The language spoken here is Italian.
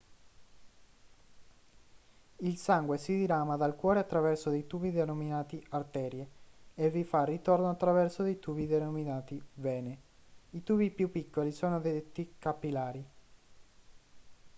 il sangue si dirama dal cuore attraverso dei tubi denominati arterie e vi fa ritorno attraverso dei tubi denominati vene i tubi più piccoli sono detti capillari